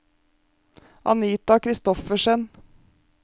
Anita Kristoffersen